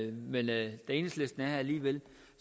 men da enhedslisten her alligevel